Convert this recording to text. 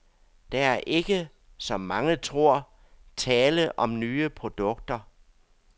Der er ikke, som mange tror, tale om nye produkter.